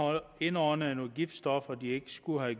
indåndet nogle giftstoffer de ikke skulle have